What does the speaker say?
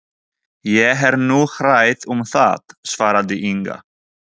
Ég er nú hrædd um það, svaraði Inga.